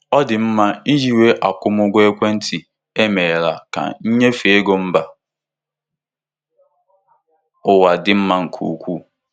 Ndị ọrụ mba ofesi na-eji ngwa izipu ekwentị echedoro ezipụ ego n'ụlọ n'ụzọ mfe.